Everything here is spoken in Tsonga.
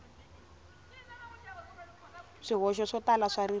swihoxo swo tala swa ririmi